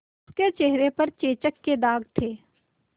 उसके चेहरे पर चेचक के दाग थे